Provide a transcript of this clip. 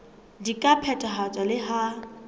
di ka phethahatswa le ha